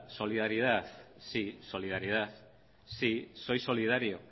solidaridad sí solidaridad sí soy solidario